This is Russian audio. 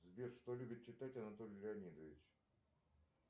сбер что любит читать анатолий леонидович